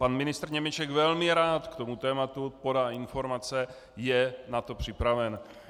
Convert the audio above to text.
Pan ministr Němeček velmi rád k tomu tématu podá informace, je na to připraven.